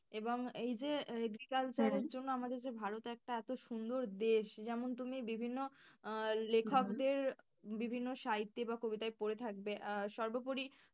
এবং এই যে agriculture জন্য আমাদের যে ভারত এত একটা সুন্দর দেশ যেমন তুমি বিভিন্ন আহ লেখকদের বিভিন্ন সাহিত্যে বা কবিতায় পড়ে থাকবে আর সর্বোপরি।